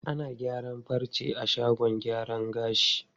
Ana gyaran farce a shagon gyaran gashi.